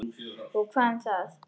Og hvað um það?